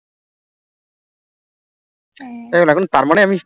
এখন তার মানে আমি